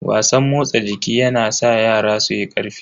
Wasan motsa jiki yana sa yara suyi karfi.